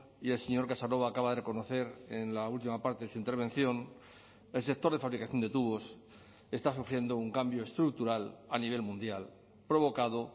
y el señor casanova acaba de reconocer en la última parte de su intervención el sector de fabricación de tubos está sufriendo un cambio estructural a nivel mundial provocado